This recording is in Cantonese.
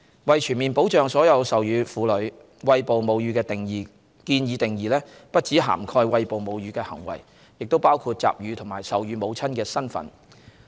為全面保障所有授乳婦女，餵哺母乳的建議定義不只涵蓋餵哺母乳的行為，亦包括集乳和授乳母親的身份。